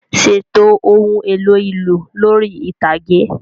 Ṣètò ohun èlò ìlù lórí ìtàgé.